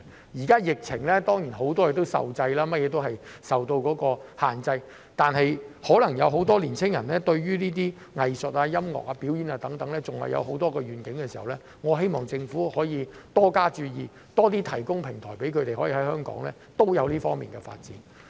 現時在疫情下，很多事情當然有所限制，但如果很多青年人可能對藝術、音樂、表演等還有很多憧憬時，我希望政府可以多加注意，多提供平台讓他們在香港也有這方面的發展。